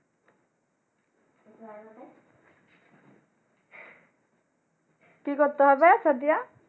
কি করতে হবে সাদিয়া।